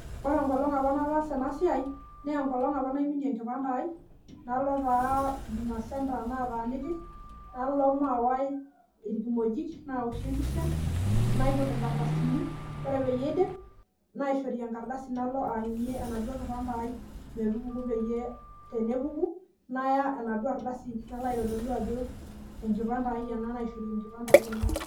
Ore enkolong apa nataasa enasiai naa enkolong apa naiminie enkipande ai , nalo taa huduma centre nataaniki , nalo mawae irkimojik ,naoshi empisha , naiput inkardasini ore peyie aidip , naishori enkardasi nalo aanyunyie enaduo kipande ai metupuku peyie ore tenepuku naya enaduo ardasi , nalo aitodolu ajo enkipande ai .